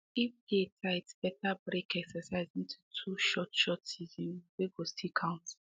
if day tight better break exercise into two short short session wey go still count